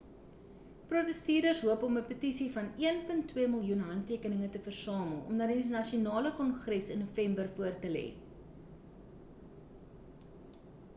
protesteerders hoop om 'n petisie van 1.2 miljoen handtekeninge te versamel om aan die nasionale kongres in november voor te lê